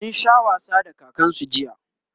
sun Sha wasa da kakansu jiya